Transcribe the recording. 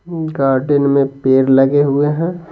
Garden में पेड़ लगे हुए हैं।